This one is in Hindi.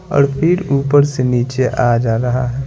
और फिर ऊपर से नीचे आ जा रहा है।